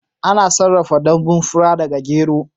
Ana sarrafa danbun fura daga gyero